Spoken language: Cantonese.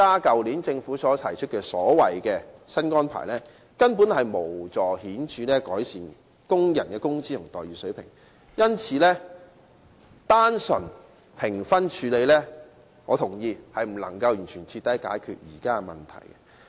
所以，政府去年提出的所謂新安排根本無法顯著改善工人的工資和待遇水平，因此，我認為若只在評分方面作出處理，並不能徹底解決現時的問題。